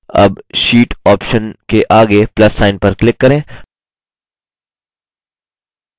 अब sheet option के आगे plus sign पर click करें